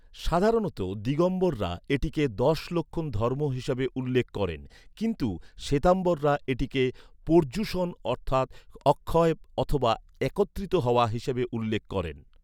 সাধারণত, দিগম্বররা এটিকে দশ লক্ষণ ধর্ম হিসাবে উল্লেখ করেন, কিন্তু শ্বেতাম্বররা এটিকে পর্যুষণ অর্থাৎ "অক্ষয়" অথবা "একত্রিত হওয়া" হিসাবে উল্লেখ করেন।